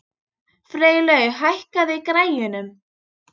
Freylaug, hækkaðu í græjunum.